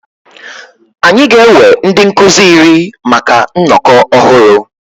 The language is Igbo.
Anyị ga-ewe ndị nkuzi iri maka nnọkọ ọhụrụ.